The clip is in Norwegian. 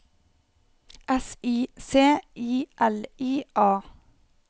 S I C I L I A